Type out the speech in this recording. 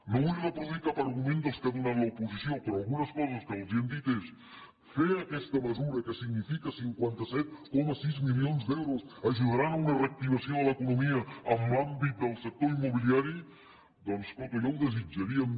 no vull reproduir cap argument dels que ha donat l’oposició però algunes coses que els hem dit són fer aquesta mesura que significa cinquanta set coma sis milions d’euros ajudarà a una reactivació de l’economia en l’àmbit del sector immobiliari doncs coto ja ho desitjaríem